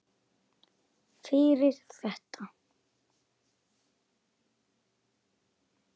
Fyrir þetta.